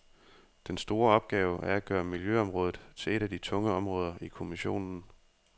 Den store opgave er at gøre miljøområdet til et af de tunge områder i kommissionen.